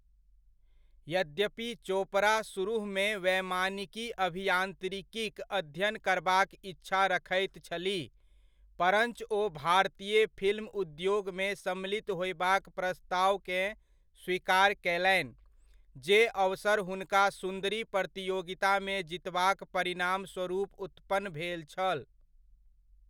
यद्यपि चोपड़ा सुरुहमे वैमानिकी अभियान्त्रिकीक अध्ययन करबाक इच्छा रखैत छलीह, परञ्च ओ भारतीय फिल्म उद्योगमे सम्मिलित होयबाक प्रस्तावकेँ स्वीकार कयलनि, जे अवसर हुनका सुन्दरी प्रतियोगितामे जीतबाक परिणामस्वरूप उत्पन्न भेल छल।